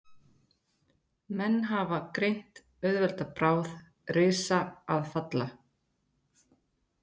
Menn hafa greint auðvelda bráð, risa að falla.